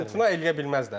İmtina edə bilməzlər.